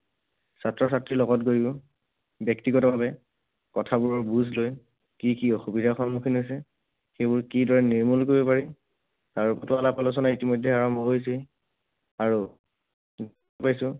ছাত্ৰ ছাত্ৰীৰ লগত গৈয়ো ব্যক্তিগতভাৱে কথাবোৰ বুজ লৈ কি কি অসুবিধাৰ সন্মুখীন হৈছে, সেইবোৰ কিদৰে নিৰ্মূল কৰিব পাৰি, আৰু আলোচনা ইতিমধ্যেই আৰম্ভ হৈছেই। আৰু